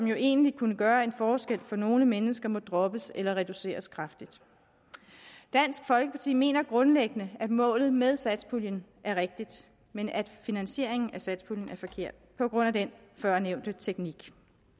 jo egentlig kunne gøre en forskel for nogle mennesker må droppes eller reduceres kraftigt dansk folkeparti mener grundlæggende at målet med satspuljen er rigtigt men at finansieringen af satspuljen er forkert på grund af den førnævnte teknik